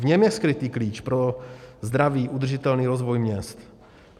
V něm je skrytý klíč pro zdravý udržitelný rozvoj měst.